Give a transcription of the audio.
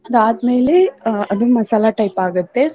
ಅದಾದ್ಮೇಲೆ ಅಹ್ ಅದು ಮಸಾಲಾ type ಆಗತ್ತೆ.